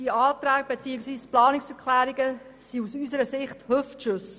Diese Planungserklärungen sind aus unserer Sicht Hüftschüsse.